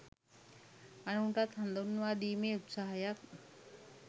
අනුන්ටත් හඳුන්වා දීමේ උත්සාහයක්.